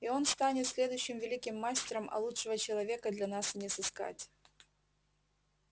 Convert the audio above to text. и он станет следующим великим мастером а лучшего человека для нас и не сыскать